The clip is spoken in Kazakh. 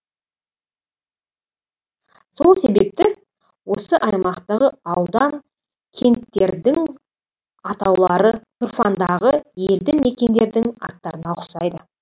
сол себепті осы аймақтағы аудан кенттердің атаулары тұрфандағы елді мекендердің аттарына ұқсайды